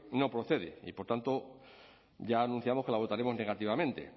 no procede y por tanto ya anunciamos que la votaremos negativamente